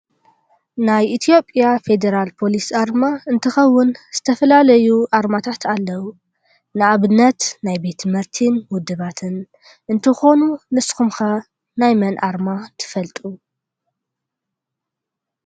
ናይ ኢትዮጵያ ፌደራል ፖሊስ ኣርማ እንትከውን ዝተፈላለዩ ኣርማታት ኣለው። ንኣብነት ናይ ቤት ትምህርቲን ውድባትን እንትኮኑ ንስኩም'ከ ናይ መን ኣርማ ትፈልጡ ?